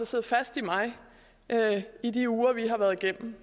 siddet fast i mig i de uger vi har været igennem